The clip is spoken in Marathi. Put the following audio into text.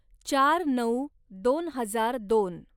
चार नऊ दोन हजार दोन